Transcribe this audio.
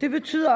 det betyder